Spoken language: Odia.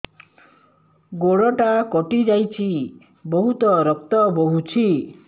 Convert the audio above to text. ଗୋଡ଼ଟା କଟି ଯାଇଛି ବହୁତ ରକ୍ତ ବହୁଛି